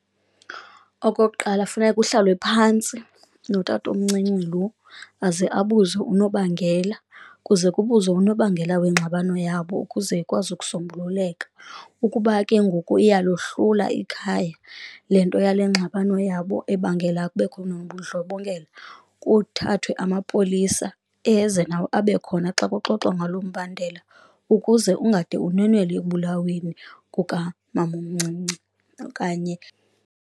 Okokuqala, funeka kuhlalwe phantsi notatomncinci loo aza abuzwe unobangela kuze kubuzwe unobangela wale ngxabano yabo, ukuze ikwazi ukusombululeka. Ukuba ke ngoku iyalohlula ikhaya le nto yale ngxabano yabo ebangela kubekho nobundlobongela, kuthathwe amapolisa eze nawo abe khona xa kuxoxwa ngalo mbandela. Ukuze ungade unwenwele ekubulaweni kukamamomncinci okanye.